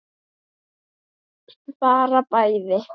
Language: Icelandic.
Bara bæði.